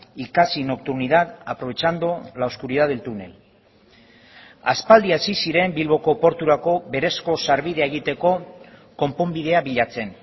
y casi nocturnidad aprovechando la oscuridad del túnel aspaldi hasi ziren bilboko porturako berezko sarbidea egiteko konponbidea bilatzen